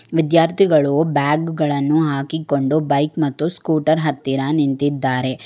ವಿದ್ಯಾರ್ಥಿಗಳು ಬ್ಯಾಗ್ ಗಳನ್ನು ಹಾಕಿಕೊಂಡು ಬೈಕ್ ಮತ್ತು ಸ್ಕೂಟರ್ ಹತ್ತಿರ ನಿಂತಿದ್ದಾರೆ.